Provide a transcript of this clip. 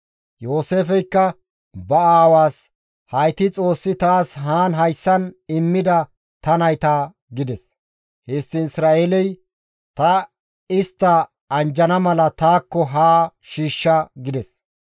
Yooseefeykka ba aawaas, «Hayti Xoossi taas haan hayssan immida ta nayta» gides. Histtiin Isra7eeley, «Ta istta anjjana mala taakko haa shiishsha» gides.